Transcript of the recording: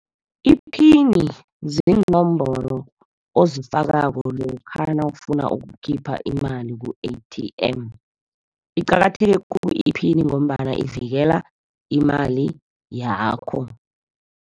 Iphini ziinomboro ozifakako lokha nawufuna ukukhipha imali ku-A_T_M. Iqakatheke khulu iphini ngombana ivikela imali yakho.